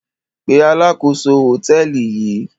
Pe alákòóso hòtẹ́ẹ́lì yìí!